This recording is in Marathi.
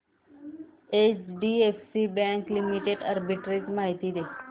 एचडीएफसी बँक लिमिटेड आर्बिट्रेज माहिती दे